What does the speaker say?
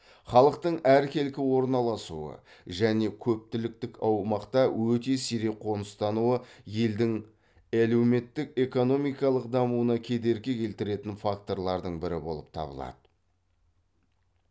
халықтың әркелкі орналасуы және көптіліктік аумақта өте сирек қоныстануы елдің әлеуметтік экономикалық дамуына кедергі келтіретін факторлардың бірі болып табылады